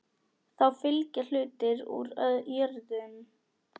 Þá fylgja hlutir úr jörðum.